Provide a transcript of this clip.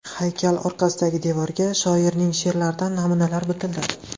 Haykal orqasidagi devorga shoirning she’rlaridan namunalar bitildi.